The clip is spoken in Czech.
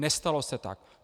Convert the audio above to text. Nestalo se tak.